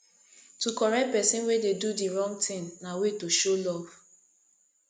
to correct persin wey de do di wrong thing na way to show love